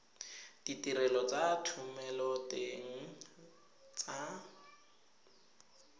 ditirelo tsa thomeloteng le tsa